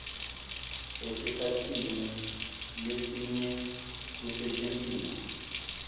esikhatsini lesinyenti kusetjentiswe